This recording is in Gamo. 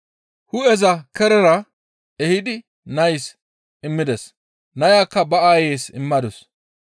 Hu7eza kerera ehidi nays immides; nayakka ba aayeys immadus.